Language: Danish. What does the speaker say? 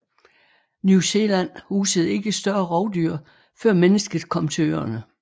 New Zealand husede ikke større rovdyr før mennesket kom til øerne